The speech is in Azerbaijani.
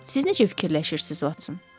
Siz necə fikirləşirsiz Votson?